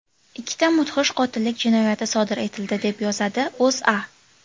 Ikkita mudhish qotillik jinoyati sodir etildi, deb yozadi O‘zA.